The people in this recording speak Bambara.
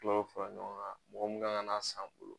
Tɔ bɛ fara ɲɔgɔn kan mɔgɔ min kan ka n'a san bolo.